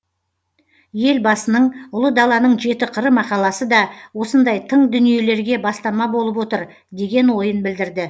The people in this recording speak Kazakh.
елбасының ұлы даланың жеті қыры мақаласы да осындай тың дүниелерге бастама болып отыр деген ойын білдірді